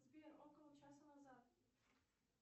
сбер около часа назад